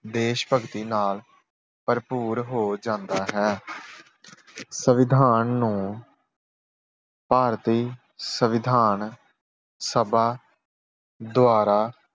ਦੇਸ਼ ਭਗਤੀ ਨਾਲ ਭਰਪੂਰ ਹੋ ਜਾਂਦਾ ਹੈ। ਸੰਵਿਧਾਨ ਨੂੰ ਭਾਰਤੀ ਸੰਵਿਧਾਨ ਸਭਾ ਦੁਆਰਾ